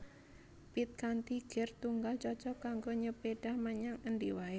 Pit kanthi gir tunggal cocog kanggo nyepédhah menyang endi waé